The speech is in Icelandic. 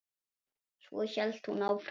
Svo hélt hún áfram